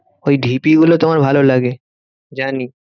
ওই ঢিপিগুলো তোমার ভালোলাগে, জানি।